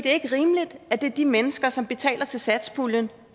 er ikke rimeligt at det er de mennesker som betaler til satspuljen